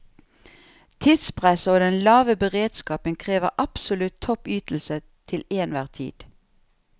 Tidspresset og den lave beredskapen krever absolutt topp ytelse til enhver tid.